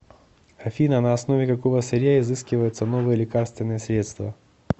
афина на основе какого сырья изыскиваются новые лекарственные средства